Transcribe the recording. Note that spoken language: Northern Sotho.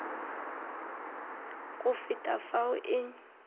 go feta ka fao e